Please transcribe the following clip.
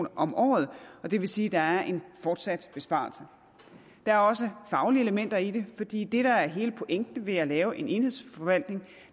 om året og det vil sige at der er en fortsat besparelse der er også faglige elementer i det fordi det der er hele pointen ved at lave en enhedsforvaltning